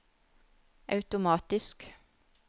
automatisk